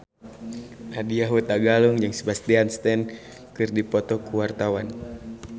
Nadya Hutagalung jeung Sebastian Stan keur dipoto ku wartawan